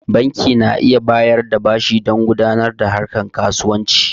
Banki na iya bayar da bashi dan gudanar da harkar kasuwanci